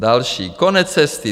Další: Konec cesty.